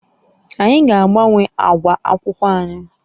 Anyị ga-agbanwe ákwà akwụkwọ anyị